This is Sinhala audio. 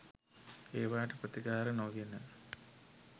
ඒවාට ප්‍රතිකාර නොගෙන